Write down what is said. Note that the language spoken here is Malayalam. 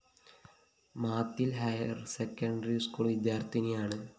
മാത്തില്‍ ഹയര്‍സെക്കണ്ടറി സ്കൂൾ വിദ്യാര്‍ത്ഥിനിയാണ്